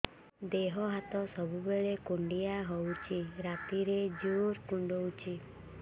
ଦେହ ହାତ ସବୁବେଳେ କୁଣ୍ଡିଆ ହଉଚି ରାତିରେ ଜୁର୍ କୁଣ୍ଡଉଚି